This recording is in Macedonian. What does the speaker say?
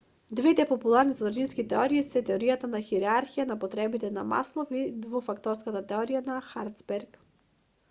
двете популарни содржински теории се теоријата на хиерархија на потребите на маслов и двофакторската теорија на херцберг